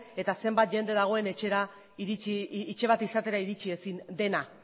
eta zenbat jende dagoen etxe bat izatera iritsi ezin dena